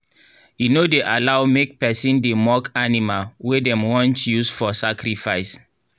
e no dey allow make person dey mock animal wey dem want use for sacrifice.